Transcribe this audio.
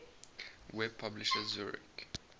web publisher zurich